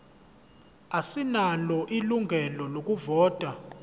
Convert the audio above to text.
asinalo ilungelo lokuvota